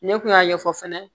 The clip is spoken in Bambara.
Ne kun y'a ɲɛfɔ fɛnɛ